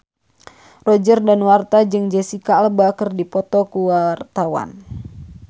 Roger Danuarta jeung Jesicca Alba keur dipoto ku wartawan